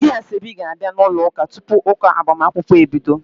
Ndị asoebi ga-abia n'ụlọ ụka tupu ụka agbamakwụkwọ ebido.